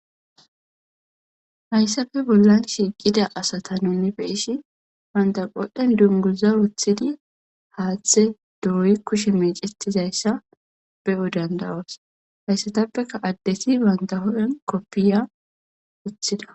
hayssafe bollan shiiqida asata nunibe ishi bandaqodhen dunguza wothidi haaththe dooyi kushe miicetizayssa be7u dandawas hayssatappeka addeti bandaho7en koppiya wothida